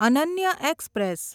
Ananya express